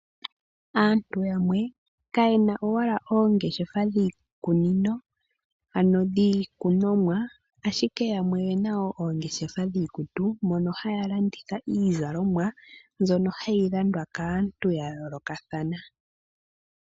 Aantu yamwe kayena owala oongeshefa dhiikunino ano dhiilunomwa ashike yamwe oyena oongeshefa dhiikutu mono haya landitha iizalomwa mbyono hayi landwa kaantu ya yoolokathana.